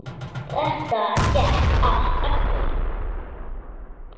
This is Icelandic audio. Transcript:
Þetta gekk allt eftir.